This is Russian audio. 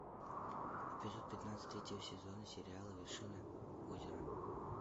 эпизод пятнадцатый третьего сезона сериала вершина озера